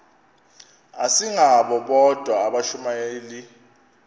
asingabo bodwa abashumayeli